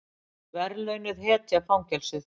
Verðlaunuð hetja fangelsuð